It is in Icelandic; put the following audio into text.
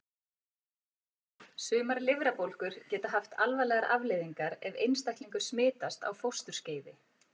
Sumar lifrarbólgur geta haft alvarlegar afleiðingar ef einstaklingur smitast á fósturskeiði.